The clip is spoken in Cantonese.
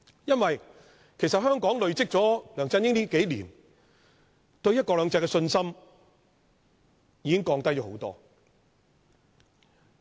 因為香港經歷了梁振英數年的管治後，對"一國兩制"的信心已經大大降低。